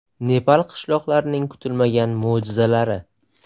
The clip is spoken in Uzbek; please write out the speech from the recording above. Nepal qishloqlarining kutilmagan mo‘jizalari.